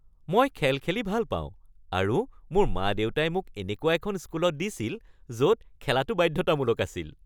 মই খেল খেলি ভাল পাওঁ আৰু মোৰ মা-দেউতাই মোক এনেকুৱা এখন স্কুলত দিছিল য'ত খেলাটো বাধ্যতামূলক আছিল